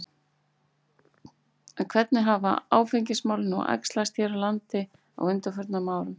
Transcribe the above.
En hvernig hafa áfengismálin nú æxlast hér á landi á undanförnum árum?